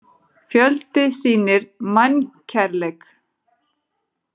Fjöldi sýnir mannkærleik